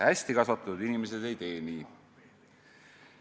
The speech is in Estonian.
Hästi kasvatatud inimesed nii ei tee.